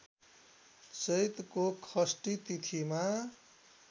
चैतको षष्ठी तिथिमा